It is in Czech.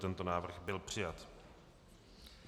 Tento návrh byl přijat.